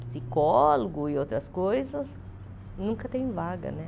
psicólogo e outras coisas, nunca tem vaga, né?